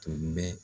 Tun bɛ